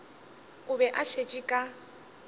o be a šetše ka